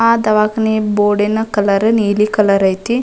ಆಹ್ಹ್ ದವಾಖಾನೆ ಬೋರ್ಡ್ ನ ಕಲರ್ ನೀಲಿ ಕಲರ್ ಐತಿ.